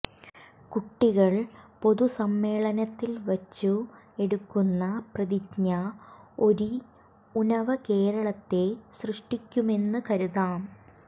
കുട്ടികൾ പൊതുസമ്മേളനത്തിൽ വച്ചു എടുക്കുന്ന പ്രതിജ്ഞ ഒരിഉ നവകേരളത്തെ സൃഷ്ടിക്കുമെന്ന് കരുതാം